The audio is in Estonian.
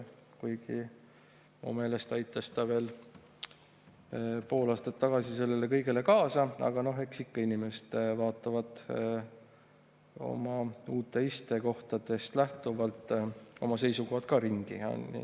Kuigi minu meelest aitas ta veel pool aastat tagasi sellele kõigele kaasa, aga noh, eks ikka inimesed vaatavad oma uuest istekohast lähtuvalt oma seisukohad ka ringi.